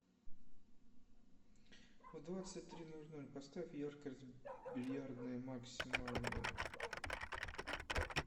в двадцать три ноль ноль поставь яркость бильярдная максимальную